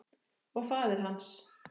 Og faðir hans?